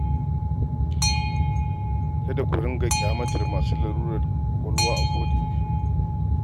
Kada ku dinga kyamatar masu larurar ƙwaƙwalwa a koda yaushe.